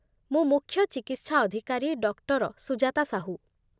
ମୁଁ ମୁଖ୍ୟ ଚିକିତ୍ସା ଅଧିକାରୀ ଡକ୍ଟର ସୁଜାତା ସାହୁ ।